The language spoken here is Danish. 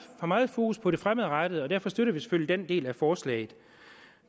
meget fokus på det fremadrettede og derfor støtter vi selvfølgelig den del af forslaget